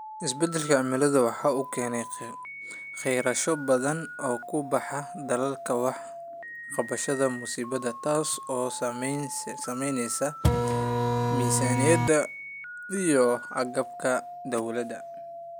Isbeddelka cimiladu waxa uu keenayaa kharashyo badan oo ku baxa dadaalka wax ka qabashada musiibada, taas oo saamaynaysa miisaaniyada iyo agabka dawladda.